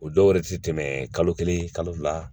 O dɔw yɛrɛ ti tɛmɛ kalo kelen kalo fila